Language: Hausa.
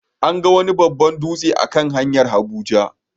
An ga wani babban dutse a kan hanyar Abuja.